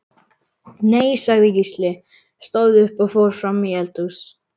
Nei, sagði Gísli, stóð upp og fór fram í eldhús.